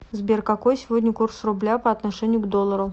сбер какой сегодня курс рубля по отношению к доллару